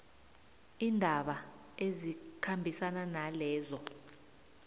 iindaba ezikhambisana nalezo